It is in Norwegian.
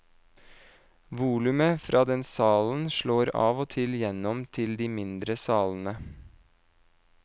Volumet fra den salen slår av og til gjennom til de mindre salene.